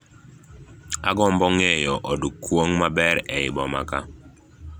Aagombo ng'eyo od kuong' maber eiy boma kaa